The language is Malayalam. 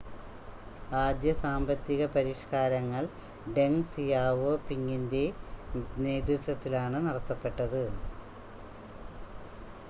ആദ്യ സാമ്പത്തിക പരിഷ്‌കാരങ്ങൾ ഡെങ് സിയാവോപിങിൻ്റെ നേതൃത്വത്തിലാണ് നടത്തപ്പെട്ടത്